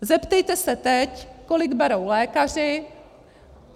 Zeptejte se teď, kolik berou lékaři.